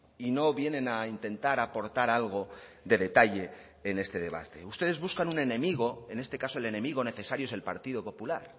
y no vienen a intentar aportar algo de detalle en este debate ustedes buscan un enemigo en este caso el enemigo necesario es el partido popular